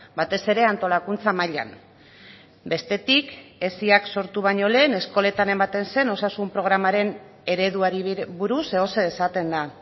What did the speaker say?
batez ere antolakuntza mailan bestetik esiak sortu baino lehen eskoletan ematen zen osasun programaren ereduari buruz zeozer esaten da